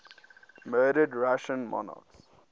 murdered russian monarchs